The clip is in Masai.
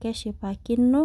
keshipakino.